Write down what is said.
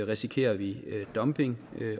risikerer vi dumping